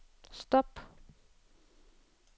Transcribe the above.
stop